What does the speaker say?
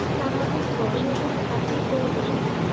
স্বাভাবিক বড়ো হয়ে চাকরি করবেই না?